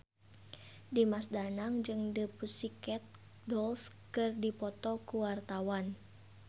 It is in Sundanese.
Dimas Danang jeung The Pussycat Dolls keur dipoto ku wartawan